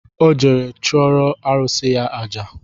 Ọ jere chụọrọ arụsị ya aja